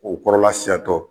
O kɔrɔla siyan tɔ